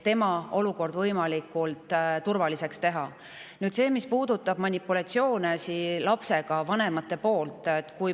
Nüüd see, mis puudutab lapse manipuleerimist vanemate poolt.